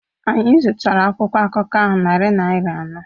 Anyị zụtara akwụkwọ akụkọ ahụ narị naira anọ